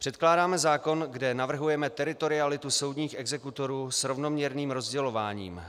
Předkládáme zákon, kde navrhujeme teritorialitu soudních exekutorů s rovnoměrným rozdělováním.